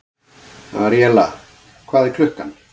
Aríella, hvað er klukkan?